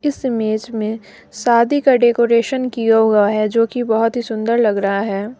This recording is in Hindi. इस इमेज में शादी का डेकोरेशन किया हुआ है जो की बहोत ही सुंदर लग रहा है।